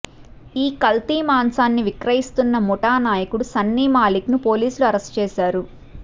ఈ కల్తీ మాంసాన్ని విక్రయిస్తున్న ముఠా నాయకుడు సన్నీ మాలిక్ను పోలీసులు అరెస్టు చేశారు